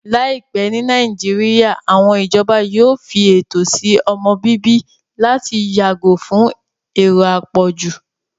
Láìpẹ́ ní Nàìjíríyà, àwọn ìjọba yóò fi ètò sí ọmọ-bíbí láti yàgò fún èrò àpọ̀jù